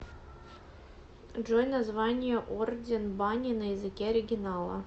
джой название орден бани на языке оригинала